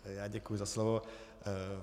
Já děkuji za slovo.